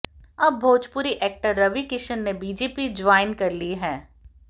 अब भोजपुरी एक्टर रवि किशन ने BJP join कर ली है